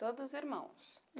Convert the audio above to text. Todos irmãos?